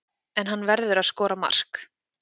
En hann verður að skora mark.